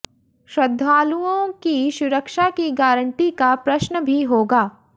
श्रद्धालुओं की सुरक्षा की गारंटी का प्रश्न भी होगा